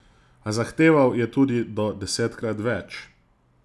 A zahteval je tudi do desetkrat več ...